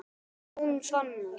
Jón Fannar.